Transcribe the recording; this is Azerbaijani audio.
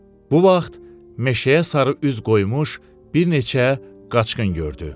Bu vaxt meşəyə sarı üz qoymuş bir neçə qaçqın gördü.